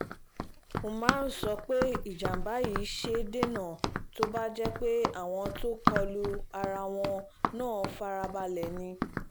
umar sọ pé ìjàm̀bá yìí ṣeé dènà tó bá jẹ́ pé àwọn tó kọ lu ara wọn náà farabalẹ̀ ni